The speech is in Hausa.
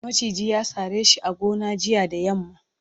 maciji ya sare shi a gona jiya da yamma